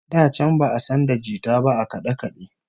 Da can ba'a san da jita ba a kade-kade